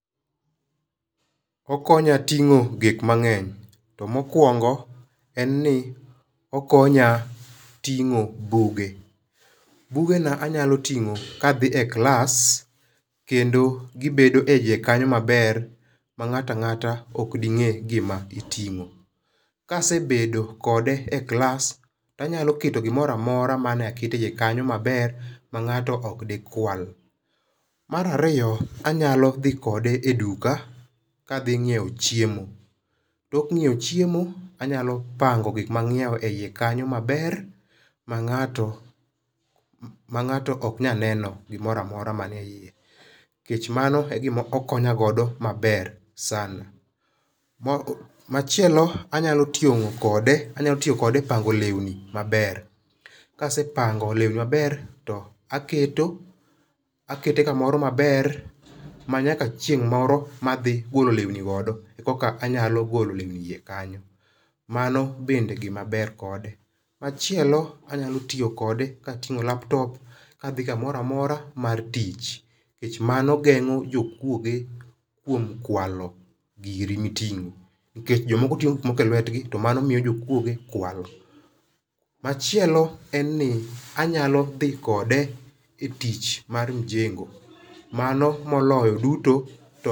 Okonya ting'o gik mang'eny to mokuongo en ni okonya ting'o buge. Bugena anyalo ting'o ka adhi e klas kendo gibedo eiye kanyo maber mang'ato ang'ata ok ding'e gima iting'o. Ka asebedo kode e klas to anyalo keto gimoro amora manaketo eiye kanyo maber ma ng'ato ok dikwal. Mar ariyo anyalo dhi kode e duka ka adhi ng'iewo chiemo. Tok ng'iewo chiemo anyalo pango gik mang'iewo eiye kanyo maber, ma ng'ato, mang'ato ok nyal neno gimoro amora man eiye nikech mano e gima okonyagodo maber sana. Machielo anyalo ting'o kode anyalo tiyo kode e pango lewni maber. Ka asepango lewni maber to aketo akete kamoro maber ma nyaka chieng' moro ma adhi golo lewni go anyalo golo lewni kanyo. Mano bende gimaber kode. Machielo, anyalo tiyo kode kating'o laptop kadhi kamoro amora mar tich nikech mano geng'o jokuoge kuom kualo giri miting'o nikech jomoko ting'o gik moko elwetgi to mano miyo jokuoge kwalo. Machielo en ni anyalo dhi kode e tich mar mjengo mano moloyo duto to